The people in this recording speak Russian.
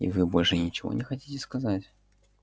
и вы больше ничего не хотите сказать